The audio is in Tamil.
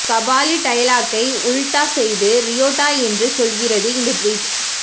கபாலி டயலாக்கை உல்டா செய்து ரியோடா என்று சொல்கிறது இந்த டிவிட்